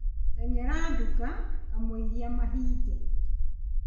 Teng'era nduka kamũira mahinge